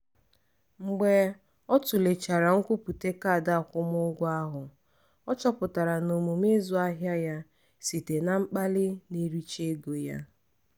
mgbe ọ tụlechara nkwupụta kaadị akwụmụgwọ ahụ ọ chọpụtara na omume ịzụ ahịa ya site na mkpali na-ericha ego ya.